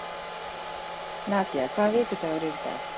Nadía, hvaða vikudagur er í dag?